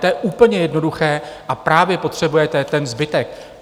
To je úplně jednoduché, a právě potřebujete ten zbytek.